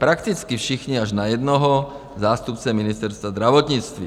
Prakticky všichni, až na jednoho, zástupce Ministerstva zdravotnictví.